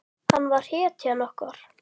Hann var hetjan okkar.